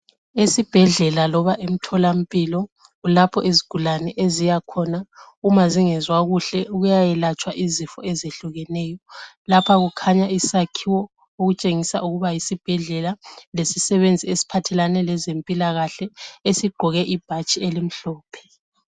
Isibhedlela loba emtholampilo kulapho izigulane eziyakhona uma zingezwa kuhle ukuyayelatshwa izifo ezehlukeneyo lapha kukhanya isakhiwo okutshengisa ukuba yisibhedlela lesisebenzi esiphathelane lezempilakahle esigqoke ibhatshi elimhlophe.